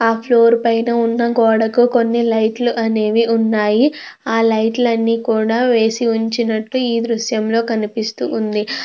ఆ ఫ్లోర్ పైన ఉన్న గోడకు కొన్ని లైట్లు అనేవి ఉన్నాయి ఆ లైట్లన్ని కూడా వేసి ఉంచినట్టు ఈ దృశ్యంలో కనిపిస్తూ ఉంది .